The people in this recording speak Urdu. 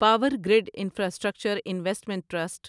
power grid infrastructure investment trust